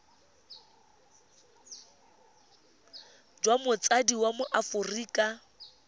jwa motsadi wa mo aforika